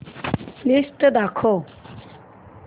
list दाखव